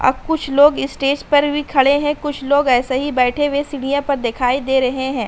और कुछ लोग स्टेज पर भी खड़े है। कुछ लोग ऐसे ही बैठे हुए सीढ़ियों पर दिखाई दे रहे है।